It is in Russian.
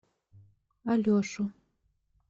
алешу